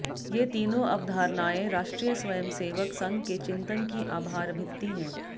ये तीनों अवधारणाएं राष्ट्रीय सवयंसेवक संघ के चिंतन की आधारभित्ती हैं